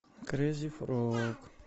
крейзи фрог